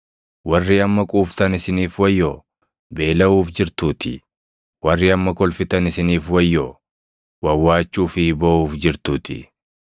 Warri amma quuftan isiniif wayyoo, beelaʼuuf jirtuutii, warri amma kolfitan isiniif wayyoo; wawwaachuu fi booʼuuf jirtuutii.